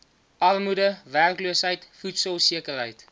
armoede werkloosheid voedselsekerheid